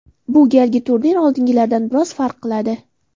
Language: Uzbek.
Bu galgi turnir oldingilaridan biroz farq qiladi.